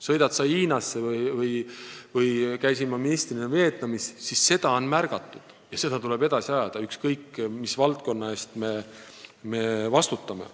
Sõida sa Hiinasse või Vietnami, kus ma ministrina käisin – seda on märgatud ja seda asja tuleb edasi ajada, ükskõik mis valdkonna eest me vastutame.